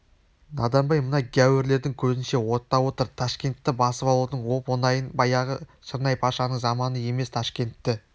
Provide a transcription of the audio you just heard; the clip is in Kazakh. надан бай мына гяурлердің көзінше оттап отыр ташкентті басып алудың оп-оңайын баяғы шырнай-пашаның заманы емес ташкентті